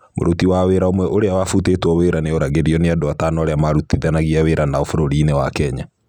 Mũruti wa wĩra ũmwe ũrĩa wavũtĩtwo wira nioragirũo nĩ andũ atano arĩa maarutithanagia wĩra nao vũrũri-inĩ wa Kenya.